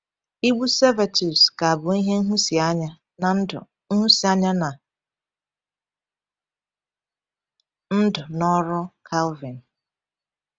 Igbu Servetus ka bụ ihe nhụsianya na ndụ nhụsianya na ndụ na ọrụ Calvin.